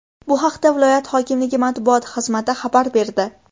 Bu haqda viloyati hokimligi matbuot xizmati xabar berdi .